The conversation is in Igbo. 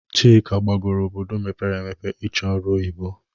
Chika gbagọrọ obodo mpere emepe ị chọ ọrụ oyibo